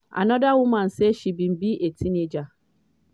anoda woman say she bin be a teenager